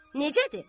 Necədir?